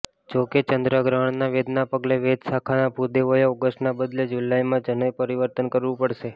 જો કે ચંદ્રગ્રહણના વેદના પગલે વેદ શાખાના ભૂદેવોએ ઓગષ્ટના બદલે જુલાઈમાં જનોઈ પરિવર્તન કરવુ પડશે